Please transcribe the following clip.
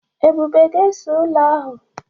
Ebube ga-ese ụlọ ahụ.